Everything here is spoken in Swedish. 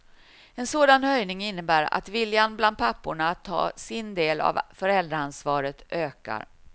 En sådan höjning innebär att viljan bland papporna att ta sin del av föräldraansvaret ökar.